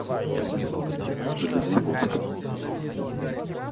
железноводска